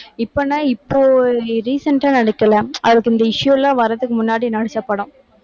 இப்பனா இப்போ recent ஆ நடிக்கலை அதுக்கு இந்த issue எல்லாம் வர்றதுக்கு முன்னாடி நடிச்ச படம்